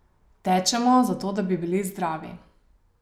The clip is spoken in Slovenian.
Tečemo, zato da bi bili zdravi.